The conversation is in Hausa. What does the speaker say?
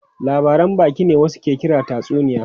Labaran baki ne wasu ke kira tatsuniya.